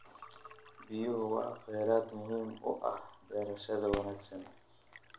Biyuhu waa kheyraad muhiim u ah beerashada wanaagsan.